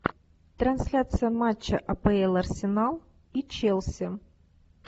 трансляция матча апл арсенал и челси